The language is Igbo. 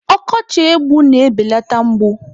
Ọkọchị egbu na-ebeleta mgbu.